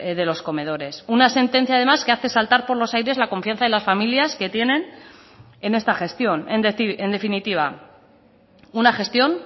de los comedores una sentencia además que hace saltar por los aires la confianza de las familias que tienen en esta gestión en definitiva una gestión